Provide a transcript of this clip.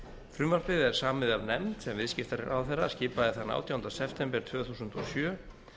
frumvarpið er samið af nefnd sem viðskiptaráðherra skipaði þann átjánda september tvö þúsund og sjö